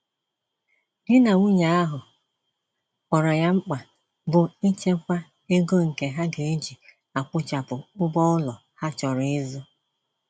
Di na nwunye ahụ kpọrọ ya mkpa, bụ ichekwa ego nke ha geji akwụchapụ ụgwọ ụlọ ha chọrọ ịzụ.